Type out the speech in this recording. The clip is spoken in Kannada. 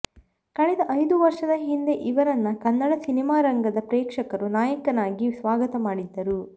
ಕಳೆದ ಐದು ವರ್ಷದ ಹಿಂದೆ ಇವರನ್ನ ಕನ್ನಡ ಸಿನಿಮಾರಂಗದ ಪ್ರೇಕ್ಷಕರು ನಾಯಕನಾಗಿ ಸ್ವಾಗತ ಮಾಡಿದ್ದರು